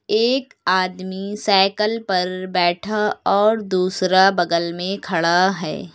एक आदमी साइकल पर बैठा और दूसरा बगल में खड़ा है।